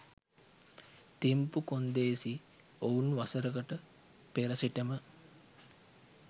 තිම්පු කොන්දේසි ඔවුන් වසරකට පෙර සිටම